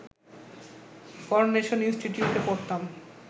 coronation ইনস্টিটিউটে পড়তাম